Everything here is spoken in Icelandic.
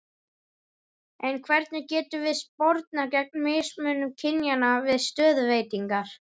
En hvernig getum við spornað gegn mismunun kynjanna við stöðuveitingar?